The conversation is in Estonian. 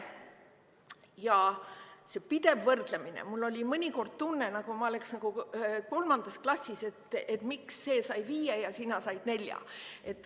Ja see pidev võrdlemine – mul oli mõnikord tunne, nagu ma oleksin kolmandas klassis, et miks see sai viie ja sina said nelja.